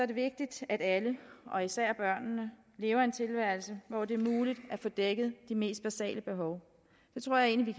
det vigtigt at alle og især børnene lever en tilværelse hvor det er muligt at få dækket de mest basale behov det tror jeg egentlig